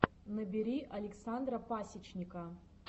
набери александра пасечника